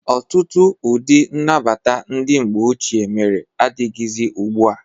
Ọtụtụ ụdị nnabata ndị mgbe ochie mere adịghịzị ugbu a.